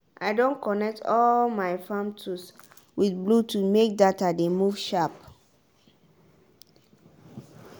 i don connect all my farm tools with bluetooth make data dey move sharp.